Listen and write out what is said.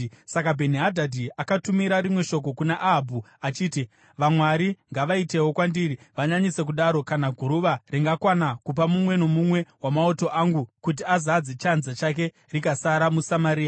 Saka Bheni-Hadhadhi akatumira rimwe shoko kuna Ahabhu achiti, “Vamwari ngavaitewo kwandiri, vanyanyise kudaro, kana guruva ringakwana kupa mumwe nomumwe wamauto angu kuti azadze chanza chake rikasara muSamaria.”